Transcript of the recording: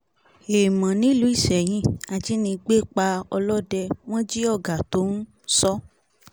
héèmọ̀ nílùú isẹ́yìn ajínigbé pa ọlọ́dẹ wọn jí ọ̀gá tó ń sọ